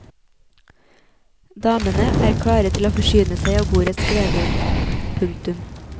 Damene er klare til å forsyne seg av bordets gleder. punktum